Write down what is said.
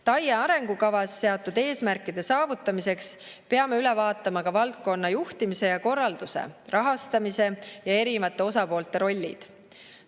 TAIE arengukavas seatud eesmärkide saavutamiseks peame üle vaatama ka valdkonna juhtimise ja korralduse, rahastamise ja erinevate osapoolte rollid.